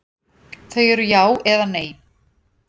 Þau eru já eða nei.